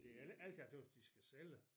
Det ikke alt jeg tøgges de skal sælge